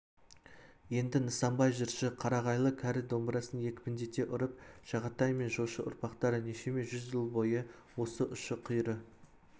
енді нысанбай жыршы қарағайлы кәрі домбырасын екпіндете ұрып жағатай мен жошы ұрпақтары нешеме жүз жыл бойы осы ұшы-қиыры